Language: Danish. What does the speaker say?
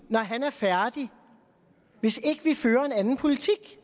når han er færdig hvis ikke vi fører en anden politik